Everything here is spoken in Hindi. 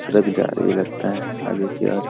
सड़क जा रही है लगता है आगे की ओर।